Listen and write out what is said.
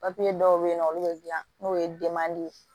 dɔw bɛ yen nɔ olu bɛ dilan n'o ye ye